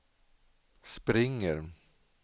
springer